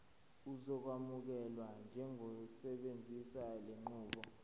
uzokwamukelwa njengosebenzisa lenqubo